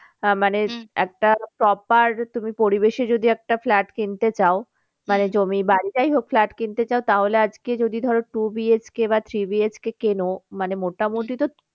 আহ মানে একটা proper তুমি পরিবেশে যদি একটা flat কিনতে চাও মানে জমি বাড়ি যাই হোক flat কিনতে চাও তাহলে আজকে যদি ধরো two BHK বা three BHK কেনো মানে মোটামুটি তো